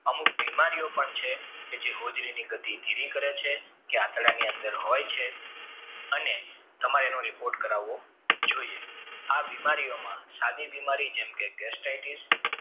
અમુક બીમારીઓ પણ છે કે જે હોજરીની ગતિ ધીરી કરે છે કે આંતરડાની અંદર હોય છે અને તમારે એનો report કરવો જોઇએ આ બીમારીઓમાં સાડી બીમારી જેમ કે